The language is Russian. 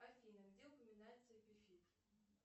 афина где упоминается эпифит